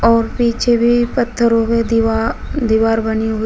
और पीछे भी पत्थरों में दीवा दीवार बनी हुई--